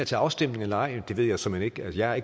til afstemning eller ej ved jeg såmænd ikke jeg